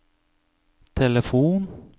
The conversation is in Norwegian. telefon